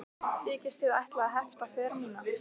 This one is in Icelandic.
Þykist þið ætla að hefta för mína?